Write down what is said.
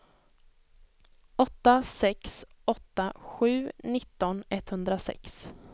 åtta sex åtta sju nitton etthundrasex